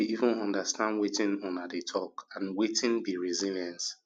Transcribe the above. i no dey even understand wetin una dey talk and wetin be resilience